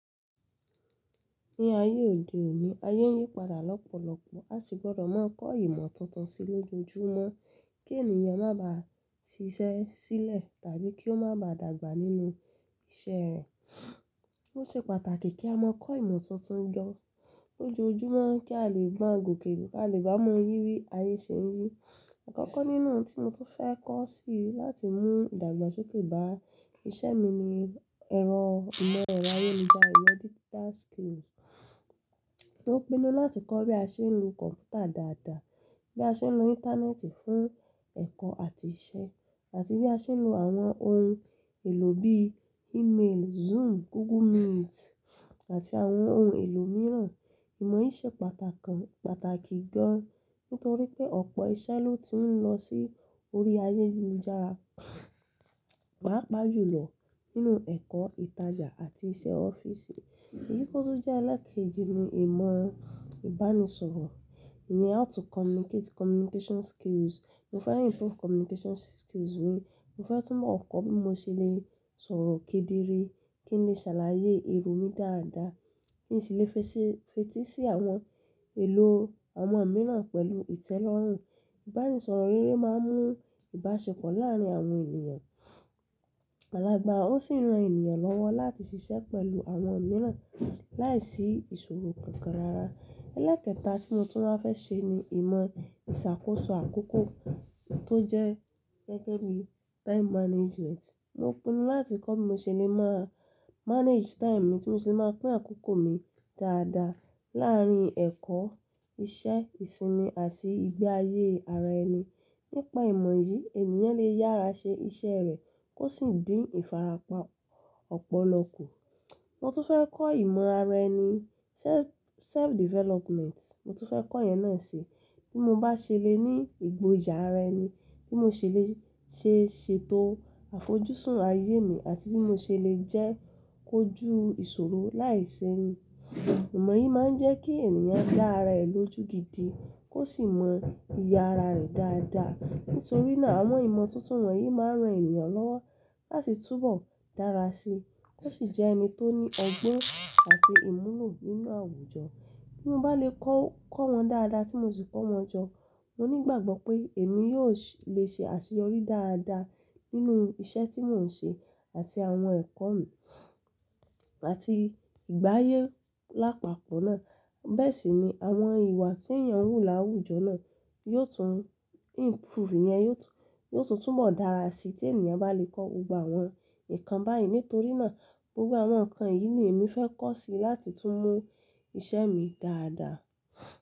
Ní ayé òde òní, ayé ń yí padà lọ́pọ̀lọpọ̀. A sì gbọdọ̀ máa kọ́ ìmọ̀ tuntun sí lójoojúmọ́ kí ènìyàn máa ba ṣiṣẹ́ sílẹ̀ tàbí kí ó máa ba dàgbà nínú iṣẹ́ rẹ̀. Ó ṣe pàtàkì kí a máa kọ́ ìmọ̀ tuntun jọ lójoojúmọ́ kí a lè gba gòkè, kí a lè bá mọyì bí ayé ṣe ń yí. Akọkọ nínú n tí mo tún fẹ́ kọ́ sí láti mú ìdàgbàsókè bá iṣẹ́ mi ni ẹ̀rọ ìmọ̀ ẹ̀rọ ayélujára, digital skills, mo pinnu láti kọ́ bí a ṣe ń lo kọ̀mpútà dáadáa, bí a ṣe ń lo Íńtánẹ́ẹ̀tì fún ẹ̀kọ́ àti iṣẹ́ àti bí a ṣe ń lo àwọn ohun èlò bí i-mail, Zoom, Google Meet àti àwọn ohun èlò mìíràn. Ìmọ̀ yìí ṣe pàtàkì, pàtàkì gan nítorí pé ọ̀pọ̀ iṣẹ́ ló ti ń lọ sí orí ayélujára, pàápàá jù lọ nínú ẹ̀kọ́, ìtajà àti iṣẹ́ ọ́fíìsì. Eyi tó tun jẹ́ alákẹ́ẹ̀jì ni ìmọ̀ ìbánisọ̀rọ̀, ìyẹn how to communicate, communication skills. Mo fẹ́ improve communication skills mi. Mo fẹ́ tún mọ̀ ọ̀ kọ́ bí mo ṣe lè sọ̀rọ̀ kedere, kí n lè ṣàlàyé èrò mi dáadáa, kí n si lè fetí sí àwọn èlò àwọn mìíràn pẹ̀lú ìtẹ́lọ́rùn. Ìbánisọ̀rọ̀ rere máa ń mú ìbáṣepọ̀ láàárín àwọn ènìyàn. Alágbára ó sì ran ènìyàn lọ́wọ́ láti ṣiṣẹ́ pẹ̀lú àwọn mìíràn láìsí ìṣòro kankan rara. Elẹ́kẹ̀ta tí mo tún máa fẹ́ ṣe ni ìmọ̀ ìsàkóso àkókò tó jẹ́ gẹ́gẹ́ bí time management. Mo pinnu láti kọ́ bí mo ṣe lè mọ manage time mi, tí mo ṣe lè máa pín àkókò mi dáadáa làárín ẹ̀kọ́, iṣẹ́, ìsinmi àti ìgbé ayé ara ẹni. Nípa ìmọ̀ yìí, ènìyàn lè yára ṣe iṣẹ́ rẹ̀ kó sì dín ìfarapa ọ̀pọ̀lọpọ̀. Mo tún fẹ́ kọ́ ìmọ̀ ara ẹni, self, self development. Mo tún fẹ́ kọ́ ìyẹn náà si. Bí mo bá ṣe le ní ìgboyà ara ẹni, bí mo ṣe lè ṣe, ṣe ètò àfojúsùn ayé mi àti bí mo ṣe lè jẹ́ kó ju ìṣòro láìsẹ́yìn. Ìmọ̀ yìí máa ń jẹ́ kí ènìyàn dá ara ẹ̀ lójú gidi kó sì mọ iye ara rẹ̀ dáadáa. Nítorí náà àwọn ìmọ̀ tuntun wọ̀nyí máa ń ran ènìyàn lọ́wọ́ láti túbọ̀ dára sí i kó sì jẹ́ ẹni tó ní ọgbọ́n àti ìmúlò nínú àwùjọ. Bí mo bá lè kọ́ wọn dáadáa tí mo sì kọ́ wọn jọ, mo nígbàgbọ́ pé èmi yóò lè ṣe àṣeyọrí dáadáa nínú iṣẹ́ tí mò ń ṣe àti àwọn ẹ̀kọ́ mi àti ìgbáyé lápapọ̀ náà. Bẹ́ẹ̀ sì ni àwọn ìwà tí èèyàn wú láwùjọ náà yóò tún improve, yẹn yóò tún, yóò tún túbọ̀ dára sí i tí ènìyàn bá lè kọ́ gbogbo àwọn nǹkan báyìí. Nítorí náà gbogbo àwọn nǹkan yìí ni èmi fẹ́ kọ́ sí láti tún mú iṣẹ́ mi dáadáa.